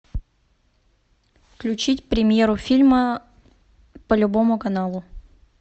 включить премьеру фильма по любому каналу